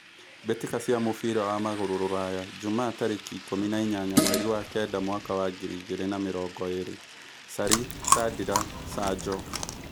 Mbĩ tĩ ka cia mũbira wa magũrũ Rũraya Jumaa tarĩ kĩ ikũmi na inyanya mweri wa kenda mwaka wa ngiri igĩ rĩ na mĩ rongo ĩ rĩ : Carĩ , Candĩ ra, Canjo